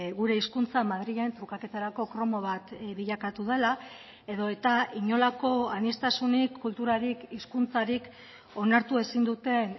gure hizkuntza madrilen trukaketarako kromo bat bilakatu dela edota inolako aniztasunik kulturarik hizkuntzarik onartu ezin duten